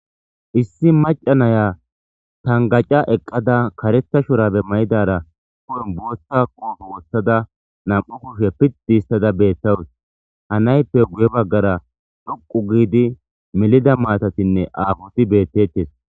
Issi macanaya tangaca eqqada karetha shurabe mayidara ku'en bootsa qoofu wossada nam'u kushe piddi istada beettawus hanayppe guye baggara dhoqu giidi melida maatatinne aafoti beettettes.